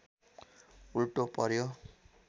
उल्टो पर्‍यो